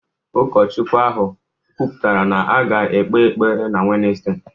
Ụkọchukwu ahụ kwuputara na a ga-ekpe ekpere na Wednesde